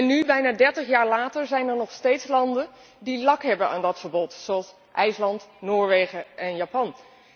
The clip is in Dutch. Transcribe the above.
En nu, bijna dertig jaar later, zijn er nog steeds landen die lak hebben aan dat verbod, zoals IJsland, Noorwegen en Japan.